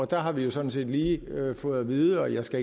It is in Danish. der har vi jo sådan set lige fået at vide og det skal